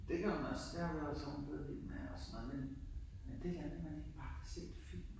Det kan man også. Det har jeg også nogen der er blevet vild med. Men men det her med at man ikke bare kan se en film.